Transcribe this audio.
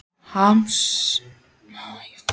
Lóa: Harmarðu örlög ísbjarnarins?